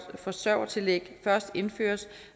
forsørgertillæg først indføres